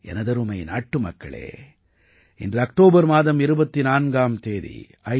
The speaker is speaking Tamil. எனதருமை நாட்டுமக்களே இன்று அக்டோபர் மாதம் 24ஆம் தேதி ஐ